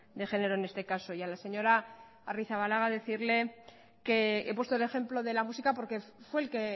de género en este caso y a la señora arrizabalaga decirle que he puesto el ejemplo de la música porque fue el que